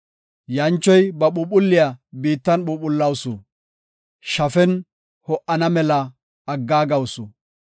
Yanchoy ba phuuphulliya biittan phuuphulawusu; shafen ho7ana mela aggaagawusu.